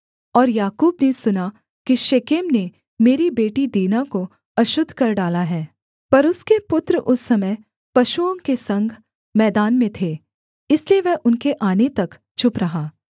और याकूब ने सुना कि शेकेम ने मेरी बेटी दीना को अशुद्ध कर डाला है पर उसके पुत्र उस समय पशुओं के संग मैदान में थे इसलिए वह उनके आने तक चुप रहा